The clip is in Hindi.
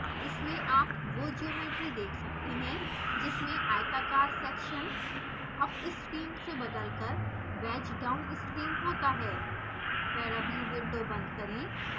इसमें आप वो ज्योमेट्री देख सकते हैं जिसमें आयताकार सेक्शन अपस्ट्रीम से बदलकर वैज डाउनस्ट्रीम होता है पैराव्यू विंडो बंद करें